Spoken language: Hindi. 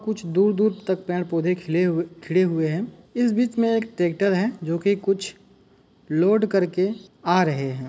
कुछ दूर-दूर तक पेड़-पौधे खिल हुए खिले हुए हैं। इस बीच में एक ट्रैक्टर है जो कि कुछ लोड कर के आ रहे हैं।